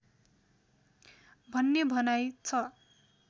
भन्ने भनाइ छ